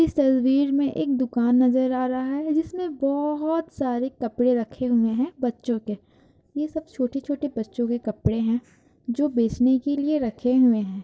इस तस्वीर में एक दुकान नजर आ रहा है जिसमे बहुत सारे कपड़े रखे हुए हैं बच्चों के। ये सब छोटे-छोटे बच्चों के कपड़े हैं जो बेचने के लिए रखे हुए हैं।